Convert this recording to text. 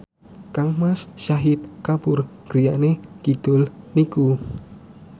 kangmas Shahid Kapoor griyane kidul niku